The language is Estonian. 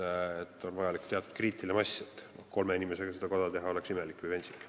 Eeldus on see, et on vaja teatud kriitilist massi, kolme inimesega seda koda teha oleks imelik või pentsik.